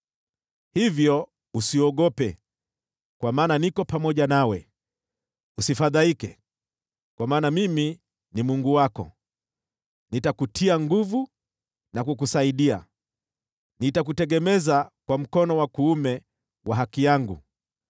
Hivyo usiogope, kwa maana niko pamoja nawe; usifadhaike, kwa maana mimi ni Mungu wako. Nitakutia nguvu na kukusaidia; nitakutegemeza kwa mkono wa kuume wa haki yangu.